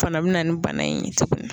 O fana bina ni bana in ye tuguni